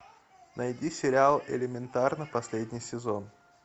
найди сериал элементарно последний сезон